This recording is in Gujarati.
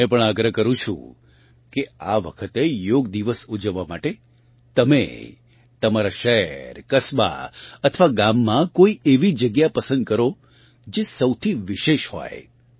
હું તમને પણ આગ્રહ કરું છું કે આ વખતે યોગ દિવસ ઊજવવા માટે તમે તમારા શહેર કસ્બા અથવા ગામમાં કોઇ એવી જગ્યા પસંદ કરો જે સૌથી વિશેષ હોય